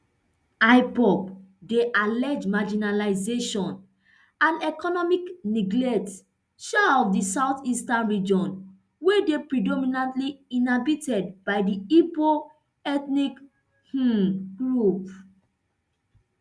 ipob dey allege marginalisation and economic neglect um of di southeastern region wey dey predominantly inhabited by di igbo ethnic um group